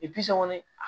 kɔni a